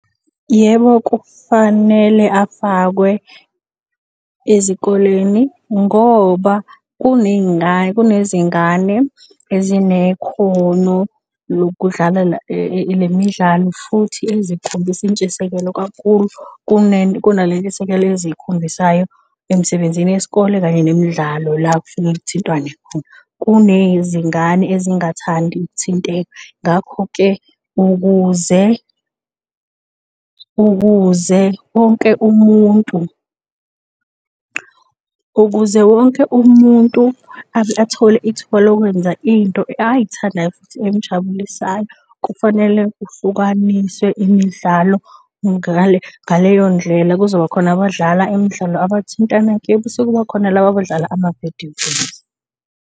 Yebo, kufanele afakwe ezikoleni ngoba kunezingane ezinekhono lokudlala lemidlalo futhi ezikhombisa intshisekelo kakhulu. Kuna lentshisekelo eziyikhombisayo emsebenzini yesikole kanye nemidlalo la kufike kuthintwane khona. Kunezingane ezingathandi ukuthinteka. Ngakho-ke ukuze, ukuze wonke umuntu, ukuze wonke umuntu athole ithuba lokwenza into ayithandayo futhi emjabulisayo, kufanele kuhlukaniswe imidlalo ngaleyo ndlela kuzoba khona abadlala imidlalo abathintana kuyo bese kuba khona laba abadlala ama-video games.